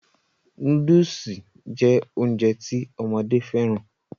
Nóódùsì jẹ́ Ounjẹ ti ọmọdé fẹ́ràn